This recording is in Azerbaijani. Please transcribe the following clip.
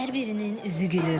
Hər birinin üzü gülür.